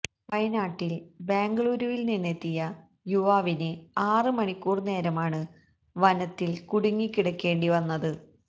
വയനാട്ടില് ബെംഗളൂരുവില് നിന്നെത്തിയ യുവാവിന് ആറ് മണിക്കൂര് നേരമാണ് വനത്തില് കുടുങ്ങി കിടക്കേണ്ടി വന്നത്